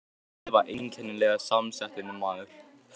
Indriði var einkennilega samsettur maður.